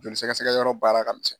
Joli sɛkɛsɛkɛ yɔrɔ baara ka misɛn.